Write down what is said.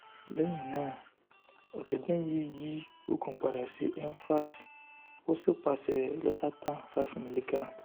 lẹhinna ọjọgbọn yi yo oogun pada si envas o si paṣẹ losartan five miligram